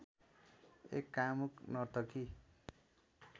एक कामुक नर्तकी